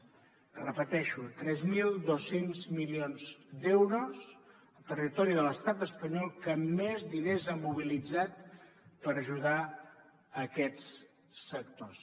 ho repeteixo tres mil dos cents milions d’euros el territori de l’estat espanyol que més diners ha mobilitzat per ajudar aquests sectors